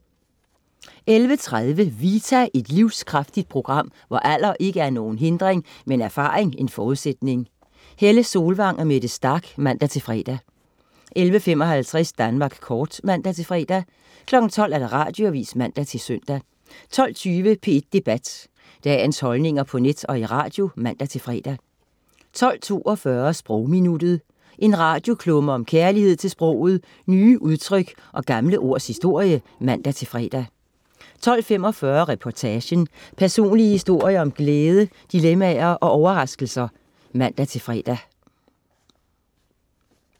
11.30 Vita. Et livskraftigt program, hvor alder ikke er nogen hindring, men erfaring en forudsætning. Helle Solvang og Mette Starch (man-fre) 11.55 Danmark Kort (man-fre) 12.00 Radioavis (man-søn) 12.20 P1 Debat. Dagens holdninger på net og i radio (man-fre) 12.42 Sprogminuttet. En radioklumme om kærlighed til sproget, nye udtryk og gamle ords historie (man-fre) 12.45 Reportagen. Personlige historier om glæde dilemmaer og overraskelser (man-fre)